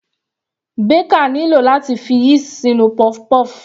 Baker nílò láti fi yeast sínú puff-puff.